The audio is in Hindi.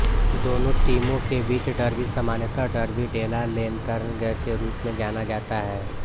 दोनों टीमों के बीच डर्बी सामान्यतः डर्बी डेला लन्तेर्न के रूप में जाना जाता है